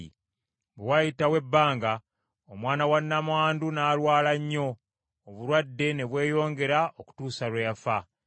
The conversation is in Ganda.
Bwe waayitawo ebbanga, omwana wa nnamwandu n’alwala nnyo, obulwadde ne bweyongera okutuusa lwe yafa.